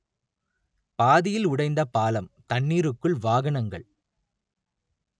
பாதியில் உடைந்த பாலம் தண்ணீருக்குள் வாகனங்கள்